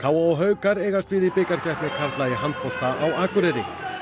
og haukar eigast við í bikarkeppni karla í handbolta á Akureyri